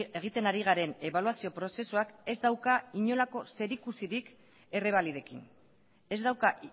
egiten ari garen ebaluazio prozesuak ez dauka inolako zerikurisik errebalidekin ez dauka